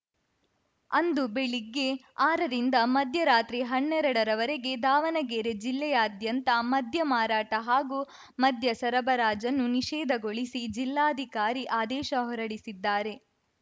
ಅಂದು ಬೆಳಿಗ್ಗೆ ಆರರಿಂದ ಮಧ್ಯರಾತ್ರಿ ಹನ್ನೆರಡರವರೆಗೆ ದಾವಣಗೆರೆ ಜಿಲ್ಲೆಯಾದ್ಯಂತ ಮದ್ಯ ಮಾರಾಟ ಹಾಗೂ ಮದ್ಯ ಸರಬರಾಜನ್ನು ನಿಷೇಧಗೊಳಿಸಿ ಜಿಲ್ಲಾಧಿಕಾರಿ ಆದೇಶ ಹೊರಡಿಸಿದ್ದಾರೆ